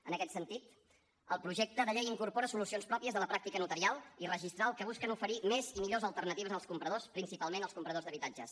en aquest sentit el projecte de llei incorpora solucions pròpies de la pràctica notarial i registral que busquen oferir més i millors alternatives als compradors principalment als compradors d’habitatges